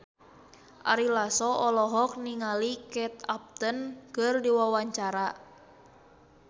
Ari Lasso olohok ningali Kate Upton keur diwawancara